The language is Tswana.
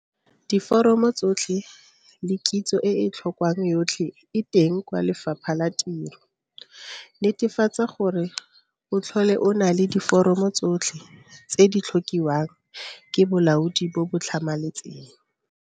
Diforomo tsotlhe le kitso e e tlhokwang yotlhe e teng kwa Lefapha la Tiro. Netefatsa gore o tlhole o na le diforomo tsotlhe tse di tlhokiwang ke bolaodi bo bo tlhamaletseng.